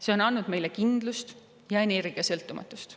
See on andnud meile kindlust ja energiasõltumatust.